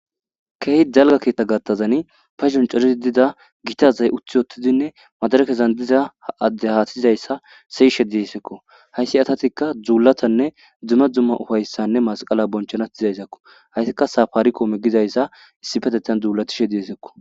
kehi dalga keetta gattazani pas soncerisi dida gitazay uthi otidinne madarakezan diza addehaatizayssa seyishe deesekko hayssi asatikka dzuulatanne dzuma dzumma ufayssanne masqala bonchanat izayssakko hayssikka safaari koome gizayssa issipetetan dzuulatishe diesekko